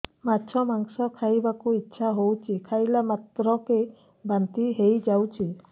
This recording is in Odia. ମାଛ ମାଂସ ଖାଇ ବାକୁ ଇଚ୍ଛା ହଉଛି ଖାଇଲା ମାତ୍ରକେ ବାନ୍ତି ହେଇଯାଉଛି